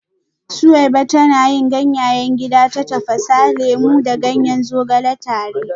Suweiba tana yin ganyayen gida ta tafasa lemu da ganyen zogale tare